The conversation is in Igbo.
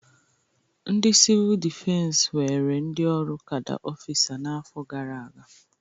Ndị sivul dịfensi were ndị ọrụ kada ọfịsa n'afọ gara aga.